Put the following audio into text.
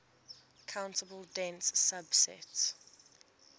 countable dense subset